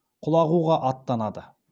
құлағуға аттанады